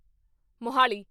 Mohali